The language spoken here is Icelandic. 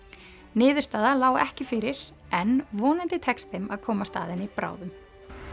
niðurstaða lá ekki fyrir en vonandi tekst þeim að komast að henni bráðum